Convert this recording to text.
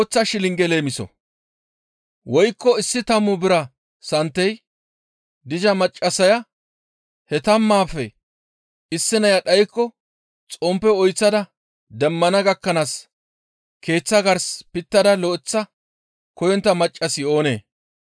«Woykko issi tammu bira santey diza maccassaya he tammaafe issineya dhaykko xomppe oyththada demmana gakkanaas keeththa gars pittada lo7eththa koyontta maccassi oonee?